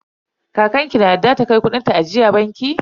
Kakan ki na yarda ta kai kudin ta ajiya banki?